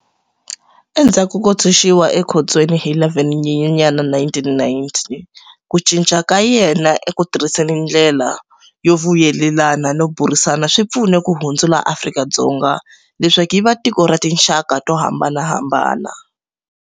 Endzhaku ko tshunxiwa ekhotsweni hi 11 Nyenyanyana 1990, ku cinca ka yena eku tirhiseni ndlela yo vuyelelana no burisana swi pfune ku hundzula Afrika-Dzonga leswaku yi va tiko ra tinxaka to hambanahambana.